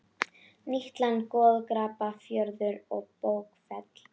Nýtt land Goð og garpar Fjöður og bókfell